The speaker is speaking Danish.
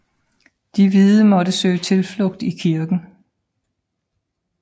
De hvide måtte søge tilflugt i kirken